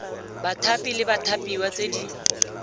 bathapi le bathapiwa tse di